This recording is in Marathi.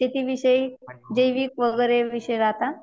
शेतीविषयी जैविक वगैरे विषय राहता.